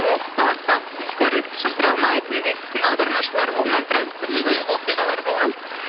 ол кісі ауырып қалып скорыйды шақыра алмай түнде біздің аудармашылар болмай біраз қызық оқиғалар болған